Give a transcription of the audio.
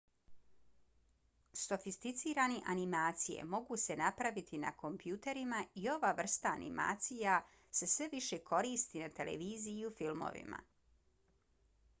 sofisticirane animacije mogu se napraviti na kompjuterima i ova vrsta animacija se sve više koristi na televiziji i u filmovima